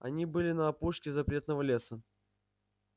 они были на опушке запретного леса